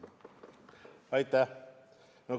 Aitäh!